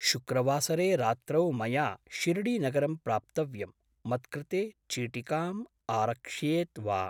शुक्रवासरे रात्रौ मया शिर्डीनगरं प्राप्तव्यं, मत्कृते चीटिकाम् आरक्षेत् वा?